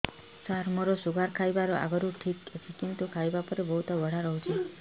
ସାର ମୋର ଶୁଗାର ଖାଇବା ଆଗରୁ ଠିକ ଅଛି କିନ୍ତୁ ଖାଇବା ପରେ ବହୁତ ବଢ଼ା ରହୁଛି